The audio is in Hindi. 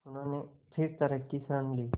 उन्होंने फिर तर्क की शरण ली